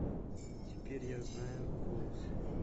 теперь я знаю голос